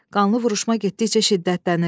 Qanlı vuruşma getdikcə şiddətlənir.